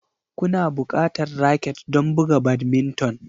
Kuna buƙatar raket don buga badminton